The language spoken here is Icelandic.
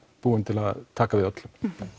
búin til að taka við öllum